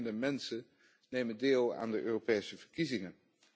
Steeds minder mensen nemen deel aan de Europese verkiezingen.